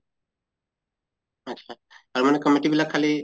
আত্চ্ছা আৰু মানে committee বিলাক খালি